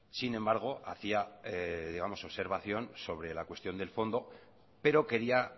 sin embargo hacía observación sobre la cuestión del fondo pero quería